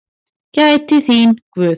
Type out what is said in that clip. Gæti þín Guð.